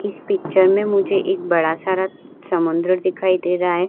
इस पिक्चर में मुझे एक बड़ा सारा समुन्द्र दिखाई दे रहा है।